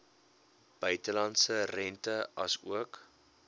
buitelandse rente asook